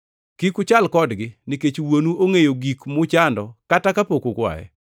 Kik uchal kodgi, nikech Wuonu ongʼeyo gik muchando kata kapok ukwaye.